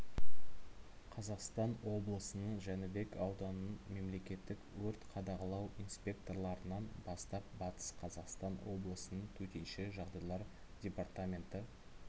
қазақстан облысының жәнібек ауданының мемлекеттік өрт қадағалау инспекторларынан бастап батыс қазақстан облысының төтенше жағдайлар департаменті